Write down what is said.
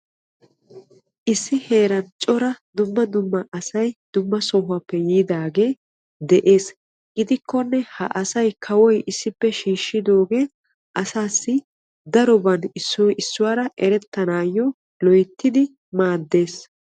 Issi heeran cora dumma dumma asay dumma dumma sohuwaappe yiidagee de'ees. gidikkonne kawoy asaa issippe shiishidoogee daroban asay issoy issuwaara erettanawu loyttidi maaddees.